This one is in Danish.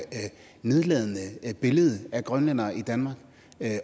nedladende billede af grønlændere i danmark